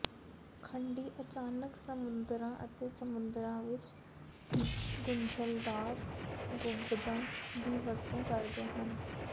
ਖੰਡੀ ਅਚਾਨਕ ਸਮੁੰਦਰਾਂ ਅਤੇ ਸਮੁੰਦਰਾਂ ਵਿਚ ਗੁੰਝਲਦਾਰ ਗੁੰਬਦਾਂ ਦੀ ਵਰਤੋਂ ਕਰਦੇ ਹਨ